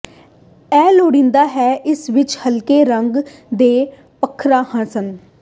ਇਹ ਲੋੜੀਦਾ ਹੈ ਕਿ ਇਸ ਵਿਚ ਹਲਕੇ ਰੰਗ ਦੇ ਪੱਥਰਾਂ ਸਨ